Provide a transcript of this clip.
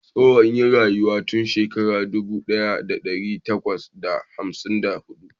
Tsoho ya rayu tun shekara dubu daya da dari bakwai da hamsin da hudu